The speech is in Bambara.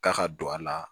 K'a ka don a la